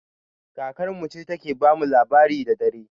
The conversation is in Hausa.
Kakar mu ce ta ke ba mu labari da dare